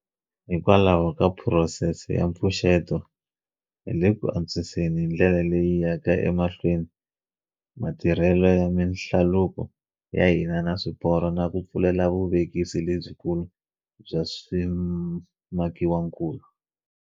Hikwalaho ka phurosese ya mpfuxeto hi le ku antswiseni hi ndlela leyi yaka emahlweni ma tirhelo ya mihlaluko ya hina na swiporo na ku pfulela vuvekisi lebyikulu bya swimakiwakulu.